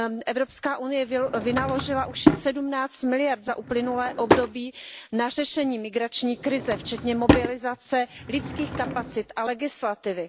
Evropská unie vynaložila už sedmnáct miliard EUR za uplynulé období na řešení migrační krize, včetně mobilizace lidských kapacit a legislativy.